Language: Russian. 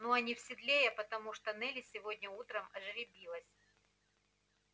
ну а не в седле я потому что нелли сегодня утром ожеребилась